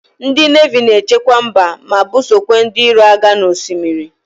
Ndi nevi na-echekwa mba ma busokwa ndi iro agha n' osimiri.